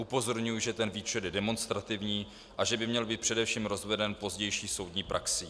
Upozorňuji, že ten výčet je demonstrativní a že by měl být především rozveden pozdější soudní praxí.